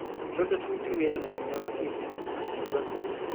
"Tũrenda tũrute wĩra na hĩnya makĩria." akiuga.